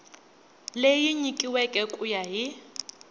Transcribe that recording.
leyi nyikiweke ku ya hi